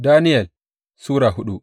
Daniyel Sura hudu